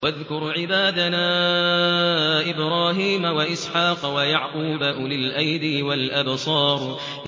وَاذْكُرْ عِبَادَنَا إِبْرَاهِيمَ وَإِسْحَاقَ وَيَعْقُوبَ أُولِي الْأَيْدِي وَالْأَبْصَارِ